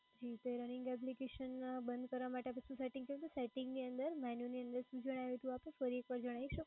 જી running application બંધ કરવા માટે setting કરી દવ? setting જે જણાવ્યું એ ફરી વખત જણાવી શકશો?